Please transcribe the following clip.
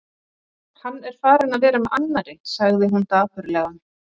Hann er farinn að vera með annarri, sagði hún dapurlega.